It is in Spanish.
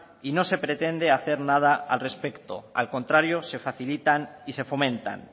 y no se pretende hacer nada al respecto al contrario se facilitan y se fomentan